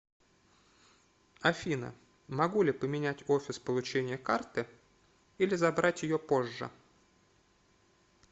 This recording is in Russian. афина могу ли поменять офис получения карты или забрать ее позже